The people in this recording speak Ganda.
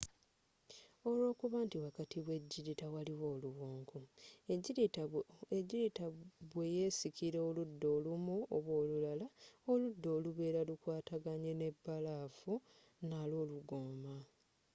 olwokuba nti wakati we jirita waliwo oluwonko ejjirita bwe yesikira oludda olumu oba olulala, oludda oluberanga lu kwataganye ne balafu n’alwo lugoma